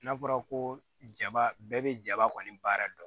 N'a fɔra ko jaba bɛɛ bɛ jaba kɔni baara dɔn